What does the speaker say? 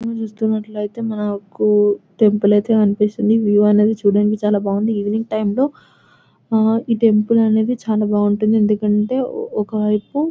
ఇక్కడ చుసుతున్నట్టుగా ఏతే మనకి టెంపుల్ అయితే కనిపిస్తుంది ఈ టెంపుల్ అయితే చాలా బాగా ఉంటుంది ఎందుకు అంటే ఒకవైపు